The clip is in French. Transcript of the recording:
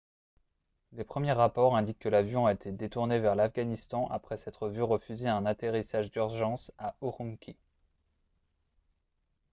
les premiers rapports indiquent que l'avion a été détourné vers l'afghanistan après s'être vu refuser un atterrissage d'urgence à ürümqi